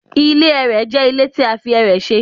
Ile ẹrẹ jẹ ile ti a fi ẹrẹ ṣe